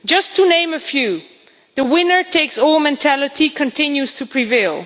To name a few the winner takes all mentality continues to prevail